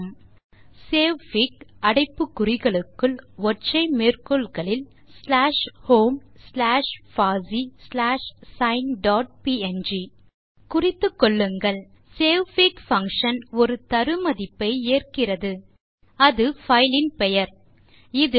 statement என்ன என்றால் savefig அடைப்பு குறிகளுக்குள் ஒற்றை மேற்கோள் குறிகளில் ஸ்லாஷ் ஹோம் ஸ்லாஷ் பாசி ஸ்லாஷ் சைன் டாட் ப்ங் குறித்துக்கொள்ளுங்கள் சேவ்ஃபிக் பங்ஷன் ஒரு தரு மதிப்பை ஏற்கிறது அது அந்த பைல் இன் பெயர் இதில்